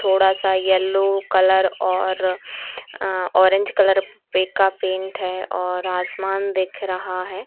थोडा-सा yellow colour और uh orange colour का paint है और आसमान दिख रहा है।